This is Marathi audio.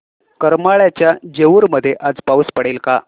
करमाळ्याच्या जेऊर मध्ये आज पाऊस पडेल का